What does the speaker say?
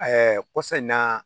kɔsa in na